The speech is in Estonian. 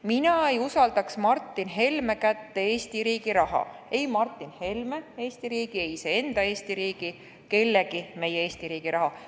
Mina ei usaldaks Martin Helme kätte Eesti riigi raha – ei Martin Helme Eesti riigi, ei iseenda Eesti riigi ega kellegi meie Eesti riigi raha.